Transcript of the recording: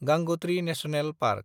Gangotri national park